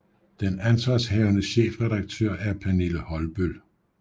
Den ansvarshavende chefredaktør er Pernille Holbøll